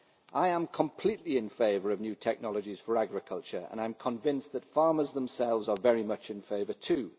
I am completely in favour of new technologies for agriculture and I am convinced that farmers themselves are very much in favour, too.